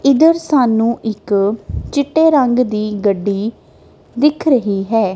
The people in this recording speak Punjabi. ਇੱਧਰ ਸਾਨੂੰ ਇੱਕ ਚਿੱਟੇ ਰੰਗ ਦੀ ਗੱਡੀ ਦਿਖ ਰਹੀ ਹੈ।